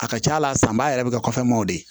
A ka ca la sanba yɛrɛ bɛ kɛ kɔfɛw de ye